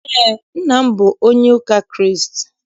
Eé, nna m bụ onye ụka Kraịst.